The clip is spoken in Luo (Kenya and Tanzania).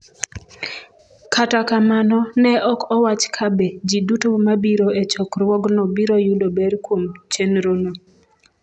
Kata kamano, ne ok owach kabe ji duto mabiro e chokruogno biro yudo ber kuom chenrono.